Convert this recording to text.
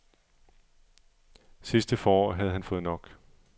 Sidste forår havde han fået nok.